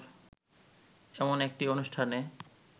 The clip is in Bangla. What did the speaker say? এমন একটি অনুষ্ঠানে